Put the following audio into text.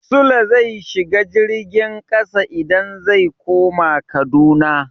Sule zai shiga jirgin ƙasa idan zai koma Kaduna.